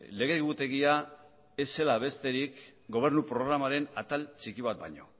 lege egutegia ez zela besterik gobernu programaren atal txiki bat baino